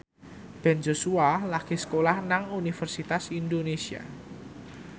Ben Joshua lagi sekolah nang Universitas Indonesia